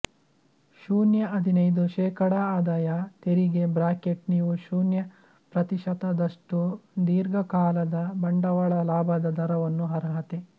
ಶೂನ್ಯ ಹದಿನೈದು ಶೇಕಡಾ ಆದಾಯ ತೆರಿಗೆ ಬ್ರಾಕೆಟ್ ನೀವು ಶೂನ್ಯ ಪ್ರತಿಶತದಷ್ಟು ದೀರ್ಘಕಾಲದ ಬಂಡವಾಳ ಲಾಭದ ದರವನ್ನು ಅರ್ಹತೆ